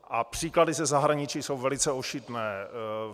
A příklady ze zahraničí jsou velice ošidné.